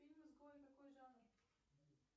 фильм изгой какой жанр